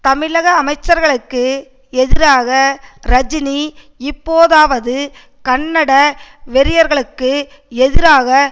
தமிழக முதலமைச்சர்களுக்கு எதிராக ரஜினி இப்போதாவது கன்னட வெறியர்களுக்கு எதிராக